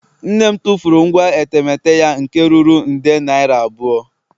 Nne m tụfuru ngwa etemeete ya nke ruru nde naira abụọ